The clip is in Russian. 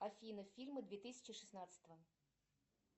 афина фильмы две тысячи шестнадцатого